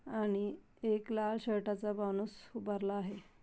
आणि एक लाल शर्टाचा माणूस उभारला आहे.